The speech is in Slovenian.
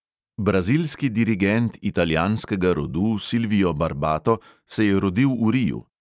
Brazilski dirigent italijanskega rodu silvio barbato se je rodil v riu.